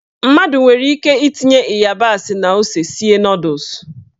Mmadụ nwere ike itinye ịyabasị na ose sie nọdụs.